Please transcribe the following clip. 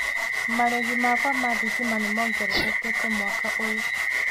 Marĩhi makwa ma thitima nĩ mongererekete mwaka ũyũ.